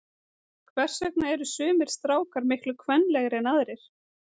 Hvers vegna eru sumir strákar miklu kvenlegri en aðrir?